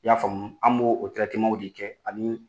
I y'a faamu an b'o o tirɛteman de kɛ ani